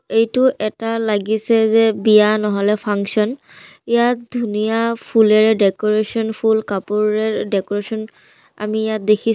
এইটো এটা লাগিছে যে বিয়া নহলে ফাংচন ইয়াত ধুনীয়া ফুলেৰে ডেক'ৰেচন ফুল কাপোৰেৰে ডেক'ৰেচন আমি ইয়াত দেখি--